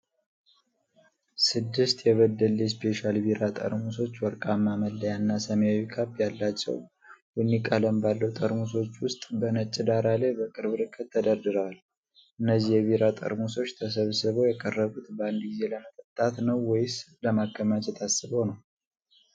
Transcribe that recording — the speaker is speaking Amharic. ስድስት የ"በደሌ ስፔሻል ቢራ" መጠጦች፣ ወርቃማ መለያና ሰማያዊ ካፕ ያላቸው፣ ቡኒ ቀለም ባለው ጠርሙሶች ውስጥ፣ በነጭ ዳራ ላይ በቅርብ ርቀት ተደርድረዋል፤ እነዚህ የቢራ ጠርሙሶች ተሰብስበው የቀረቡት በአንድ ጊዜ ለመጠጣት ነው ወይስ ለማከማቸት አስበው ነው?